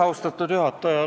Austatud juhataja!